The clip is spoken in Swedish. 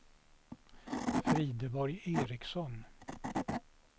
Frideborg Ericson